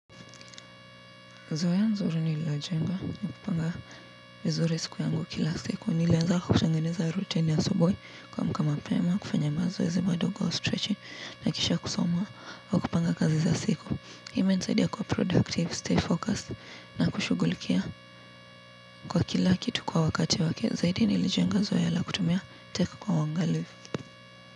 Zoea nzuri nililojenga ni kupanga vizuri siku yangu kila siku nilianza kutengeneza routine ya asubui kuamka mapema kufanya mazoezi madogo stretching na kisha kusoma aa kupanga kazi za siku. Imensaidia kuwa productive, stay focused na kushugulikia kwa kila kitu kwa wakati wake zaidi ni ilijenga zoea la kutumia teka kwa wangalivi.